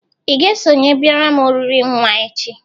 Ị ga-esokwa bịara m oriri nwa echi?